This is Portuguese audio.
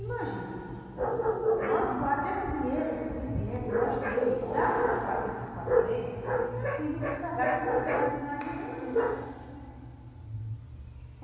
Imagina, nós quatro, esse dinheiro suficiente, nós três, dá para nós passar esses quatro meses tranquilos e sossegados, sem precisar de nós ir nem no rio pescar.